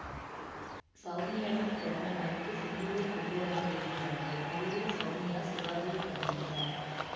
சௌமியாவின் பிறந்தநாளுக்கு சிம்புவை கொண்டுவர முயல்கிறார்கள் முடிவில் சௌமியா சிவாவை காதலிக்கிறார்